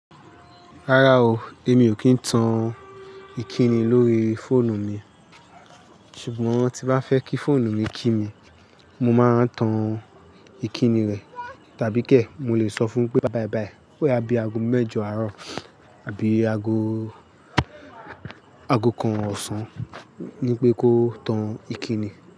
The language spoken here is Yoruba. Rárá o, èmi ò kí ń tan ìkíni lórí fóònù mi. Ṣùgbọ́n tí bá fẹ́ kí fóònù mi kí mi, mo máa ń tan ìkíni rẹ̀ tàbí kẹ̀ mo lè sọ fún pé, báì báì báì. Ó yá bí i ago mẹ́jọ àárọ̀ àbí ago, ago kan ọ̀sán wípé kó tan ìkíni.